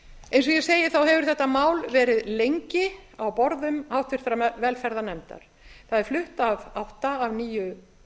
eins og ég segi hefur þetta mál verið lengi á borðum háttvirtrar velferðarnefndar það er flutt af átta af níu